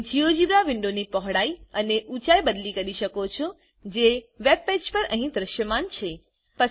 તમે જીઓજોબ્રા વિન્ડોની પહોળાઈ અને ઉચાઇ બદલી કરી શકો છોજે વેબ પેજ પર અહી દ્રશ્યમાન છે